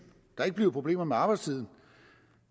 der ikke blive problemer med arbejdstiden